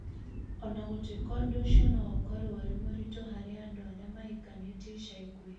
O na gũtuĩka ũndũ ũcio no ũkorũo ũrĩ mũritũ harĩ arĩa mahikanĩtie ica ikuhĩ,